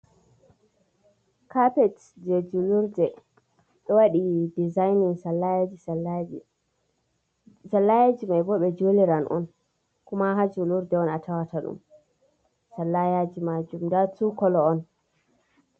Kapet je julurde ɗoo waɗi dizaini sallayaji sallayaji, sallayaji mai bo ɓe juliran on kuma ha julurde on a tawata ɗum, sallayaji majum nda tuu kolo on.